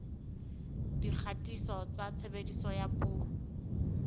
dikgatiso tsa tshebediso ya dipuo